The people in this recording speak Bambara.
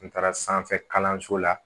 N taara sanfɛ kalanso la